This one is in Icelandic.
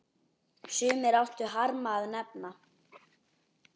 Sumir áttu harma að hefna.